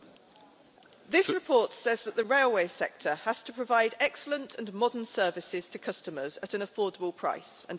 This report says that the railway sector has to provide excellent and modern services to customers at an affordable price, and I agree.